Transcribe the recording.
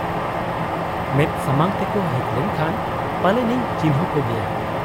ᱢᱮᱫ ᱥᱟᱢᱟᱝ ᱛᱮᱠᱚ ᱦᱮᱡ ᱞᱮᱱ ᱠᱷᱟᱱ ᱯᱟᱞᱮᱱᱤᱧ ᱪᱤᱱᱦᱟᱹᱣ ᱠᱚᱜᱮᱭᱟ ᱾